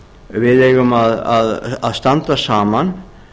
við eigum að standa saman